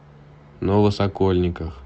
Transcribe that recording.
новосокольниках